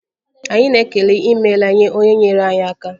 Anyị na-ekele 'imela' nye onye nyeere anyị aka.